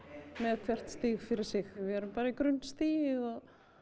með hvert stig fyrir sig við erum bara í grunnstigi og